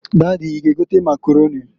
Dady, I ga egota Makaroni.